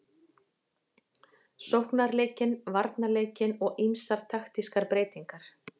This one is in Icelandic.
Sóknarleikinn, varnarleikinn og ýmsar taktískar breytingar.